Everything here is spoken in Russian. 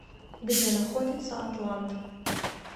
где находится атлант